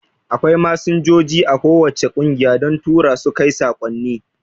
Akwai Masinjoji a ko wacce kungiya don Turasu kai saƙonni